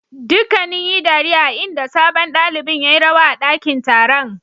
Dukanuun yi dariya a'inda sabon dalibain ya yi rawa a dakin taron.